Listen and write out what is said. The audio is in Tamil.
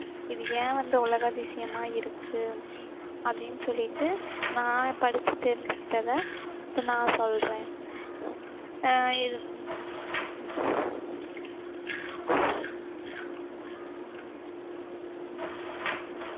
இது ஏன் வந்து உலக அதிசயமா இருக்கு? அப்படின்னு சொல்லிட்டு நான் படிச்சு தெரிஞ்சுகிட்டதை இப்போ நான் சொல்றேன் ஆஹ் இது